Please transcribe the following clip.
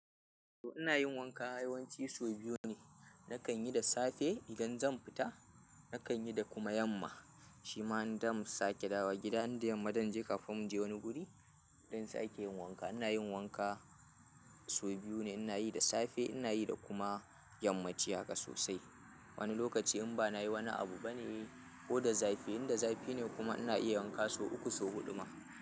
To ina yin wanka yawanci sau biyu ne. Nakan yi da safe idan zan fita, nakan yi da kuma yamma. Shi ma idan muka sake dawowa gida, in da yamma zan je madannai kafin mu je wani guri, idan sake yin wanka. Ina yin wanka sau biyu ne, ina yi da safe ina yi da kuma yammaci haka sosai. Wani lokaci in ba na yi wani abu bane ko da zafi, idan zafi ne kuma ina iya yin wanka sau uku, sau huɗu ma.